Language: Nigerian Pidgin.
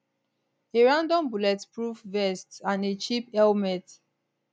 a random bulletproof vest and a cheap helmet